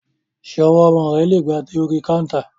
Ṣé ọwọ́ ọmọ rẹ lè ga dé orí káńtà?